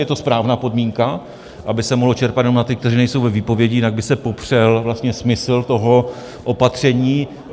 Je to správná podmínka, aby se mohlo čerpat jenom na ty, kteří nejsou ve výpovědi, jinak by se popřel vlastně smysl toho opatření.